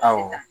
Awɔ